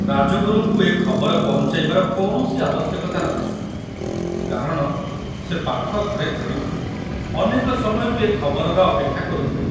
ରାଜଗୁରୁଙ୍କୁ ଏ ଖବର ପହଞ୍ଚାଇବାର କୌଣସି ଆବଶ୍ୟକତା ନ ଥିଲା କାରଣ ସେ ପାଖ ଘରେ ଥାଇ ଅନେକ ସମୟରୁ ଏ ଖବରର ଅପେକ୍ଷା କରୁଥିଲେ।